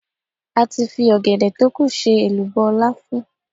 A ti fi ọ̀gẹ̀dẹ̀ tókù ṣe èlùbọ́ láfún.